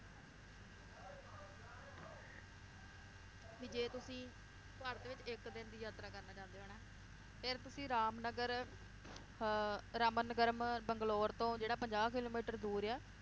ਵੀ ਜੇ ਤੁਸੀਂ ਭਾਰਤ ਵਿਚ ਇਕ ਦਿਨ ਦੀ ਯਾਤਰਾ ਕਰਨਾ ਚਾਹੁੰਦੇ ਹੋ ਨਾ, ਫਿਰ ਤੁਸੀਂ ਰਾਮਨਗਰ ਅਹ ਰਾਮਨ ਨਗਰਮ ਬੰਗਲੋਰ ਤੋਂ ਜਿਹੜਾ ਪੰਜਾਹ ਕਿਲੋਮੀਟਰ ਦੂਰ ਆ,